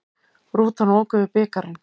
Rútan ók yfir bikarinn